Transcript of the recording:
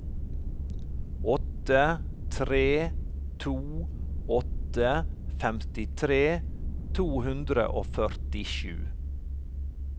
åtte tre to åtte femtitre to hundre og førtisju